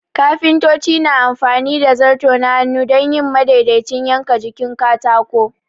Kafintoci na amfani da zarto na hannu don yin madaidaicin yanka jikin katako.